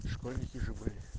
школьники же были